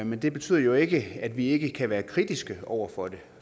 men det betyder jo ikke at vi ikke kan være kritiske over for det